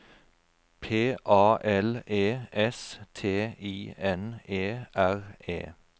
P A L E S T I N E R E